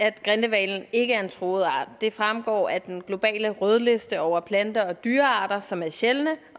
at grindehvalen ikke er en truet art det fremgår af den globale rødliste over planter og dyrearter som er sjældne